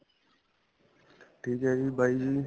ਠੀਕ ਏ ਜੀ bye ਜੀ